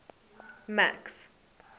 max